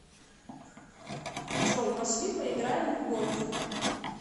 джой пошли поиграем в гольф